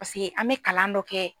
Paseke an bɛ kalan dɔ kɛ.